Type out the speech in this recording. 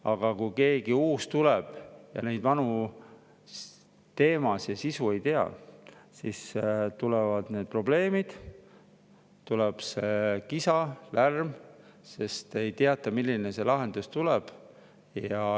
Aga kui tuleb keegi uus, kes neid vanu teemasid ja sisu ei tea, siis tekivad probleemid, kisa ja lärm, sest ei teata, milline see lahendus tuleb.